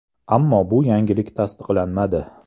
Ammo bu yangilik tasdiqlanmadi.